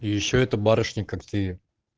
и ещё это барышня как ты